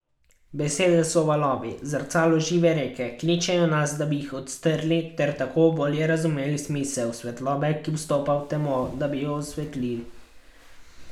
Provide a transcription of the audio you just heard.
Besede so valovi, zrcalo žive reke, kličejo nas, da bi jih odstrli, ter tako bolje razumeli smisel svetlobe, ki vstopa v temo, da jo osvetli.